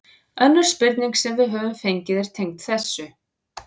Önnur spurning sem við höfum fengið er tengd þessu: